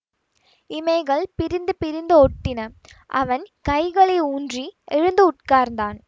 இமைகள் பிரிந்து பிரிந்து ஒட்டின அவன் கைகளை ஊன்றி எழுந்து உட்கார்ந்தான்